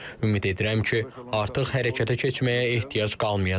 Ümid edirəm ki, artıq hərəkətə keçməyə ehtiyac qalmayacaq.